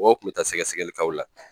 Mɔgɔ kun bɛ taa sɛgɛsɛgɛli k'aw la.